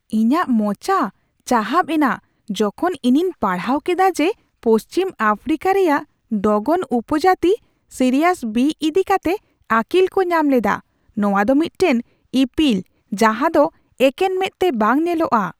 ᱤᱧᱟᱹᱜ ᱢᱚᱪᱟ ᱪᱟᱦᱟᱵ ᱮᱱᱟ ᱡᱚᱠᱷᱚᱱ ᱤᱧᱤᱧ ᱯᱟᱲᱦᱟᱣ ᱠᱮᱫᱟ ᱡᱮ ᱯᱚᱥᱪᱷᱤᱢ ᱟᱯᱷᱨᱤᱠᱟ ᱨᱮᱭᱟᱜ ᱰᱚᱜᱚᱱ ᱩᱯᱚᱡᱟᱹᱛ ᱥᱤᱨᱤᱭᱟᱥ ᱵᱤ ᱤᱫᱤᱠᱟᱛᱮ ᱟᱹᱠᱤᱞᱠᱚ ᱧᱟᱢ ᱞᱮᱫᱟ, ᱱᱚᱶᱟᱫᱚ ᱢᱤᱫᱴᱟᱝ ᱤᱯᱤᱞ ᱡᱟᱦᱟᱸᱫᱚ ᱮᱠᱮᱱ ᱢᱮᱸᱫᱛᱮ ᱵᱟᱝ ᱧᱮᱞᱚᱜᱼᱟ ᱾